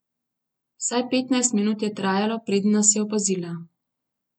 Vsaj petnajst minut je trajalo, preden nas je opazila.